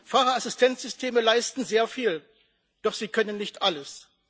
Fahrerassistenzsysteme leisten sehr viel. Doch sie können nicht alles.